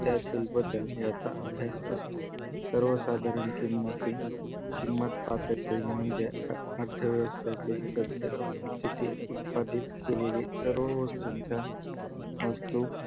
त्यातील बदल याचा अभ्यास असतो सर्व साधारण किंमती किंमत पातळी म्हणजे अर्थव्यवस्थेतील सध्या स्थिती उत्पादित केलेली सर्व वस्तूंचा वस्तू